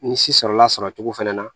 Ni si sɔrɔla sɔrɔ cogo fɛnɛ na